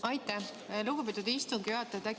Aitäh, lugupeetud istungi juhataja!